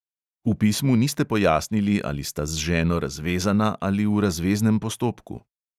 V pismu niste pojasnili, ali sta z ženo razvezana ali v razveznem postopku.